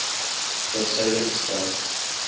ter syde gestel